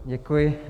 Děkuji.